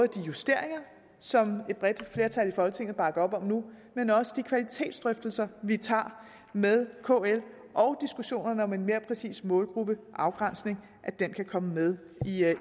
de justeringer som et bredt flertal i folketinget bakker op om nu men også de kvalitetsdrøftelser vi tager med kl og diskussionerne om en mere præcis målgruppeafgrænsning kan komme med i